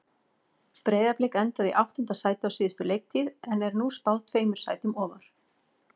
Breiðablik endaði í áttunda sæti á síðustu leiktíð en er nú spáð tveimur sætum ofar.